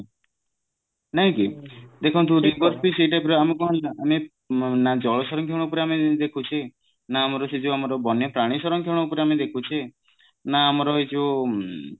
ନାଇଁ କି ଦେଖନ୍ତୁ ସେଇ type ର ଆମେ କଣ ହଉଛି ନା ଆମେ ନା ଜଳ ସରକ୍ଷଣ ଉପରେ ଆମେ ଦେଖୁଛେ ନା ଆମର ସେ ଯୋଉ ଆମର ବନ୍ୟ ପ୍ରାଣୀ ସରକ୍ଷଣ ଉପରେ ଆମେ ଦେଖୁଛେ ନା ଆମର ଏ ଯୋଉ